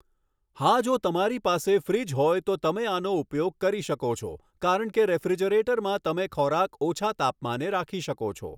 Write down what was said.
હા જો તમારી પાસે ફ્રીજ હોય તો તમે આનો ઉપયોગ કરી શકો છો કારણ કે રેફ્રિજરેટરમાં તમે ખોરાક ઓછા તાપમાને રાખી શકો છો.